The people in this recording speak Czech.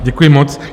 Děkuji moc.